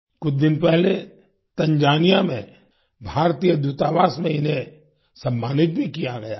कुछ दिन पहले तंजानिया में भारतीय दूतावास में इन्हें सम्मानित भी किया गया है